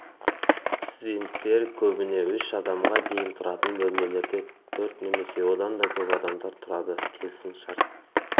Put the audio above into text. студенттер көбіне үш адамға дейін тұратын бөлмелерде төрт немесе одан да көп адамдар тұрады келісім шарт